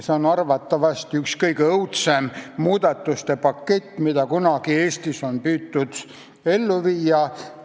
See on arvatavasti kõige õudsem muudatuste pakett, mida Eestis on kunagi püütud ellu viia.